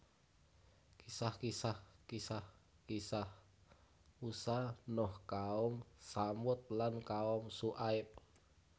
Kisah kisah Kisah kisah Musa Nuh kaum Tsamud lan kaum Syu aib